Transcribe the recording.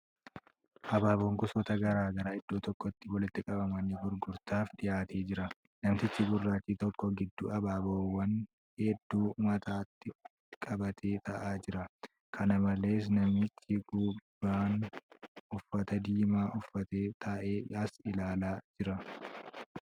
Abaaboon gosoota gara garaa iddoo tokkotti walitti qabamanii gurgurtaaf dbiyaatee jira. Namtichi gurraachi tokko gidduu abaaboowwan hedduu mataa qqbatee taa'aa jira. Kana malees, namichi gubbaan uffata diimaa uffatee taa'ee as ilaalaa jira.